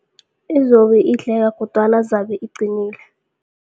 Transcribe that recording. Izobe idleka kodwana zabe iqinile.